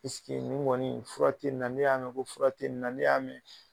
nin kɔni fura tɛ nin na ne y'a mɛn ko fura tɛ nin na ne y'a mɛn.